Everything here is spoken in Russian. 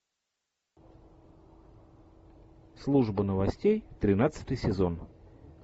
служба новостей тринадцатый сезон